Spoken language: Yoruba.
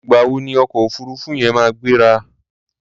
Ìgbà wo ni ọkọ̀ òfuruufú yẹn máa gbéra?